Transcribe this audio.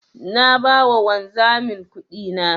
Na ba wa wanzamin kudina.